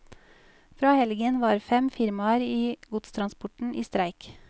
Fra helgen var fem firmaer i godstransporten i streik.